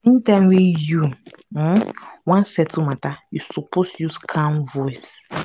any time wey you um wan settle matter you suppose use calm voice.